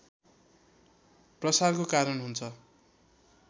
प्रसारको कारण हुन्छ